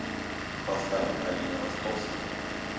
поставь алина ростовская